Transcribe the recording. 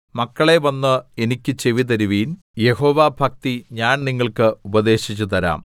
മക്കളേ വന്ന് എനിക്ക് ചെവിതരുവിൻ യഹോവാഭക്തി ഞാൻ നിങ്ങൾക്ക് ഉപദേശിച്ചുതരാം